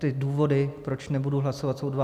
Ty důvody, proč nebudu hlasovat, jsou dva.